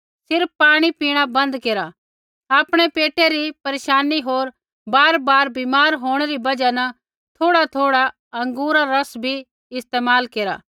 सिर्फ़ पाणी पीणा बन्द केरा आपणै पेटा री परेशानी होर बारबार बीमार होंणै री बजहा न थोड़ाथोड़ा अँगूरा रा रस भी इस्तेमाल केर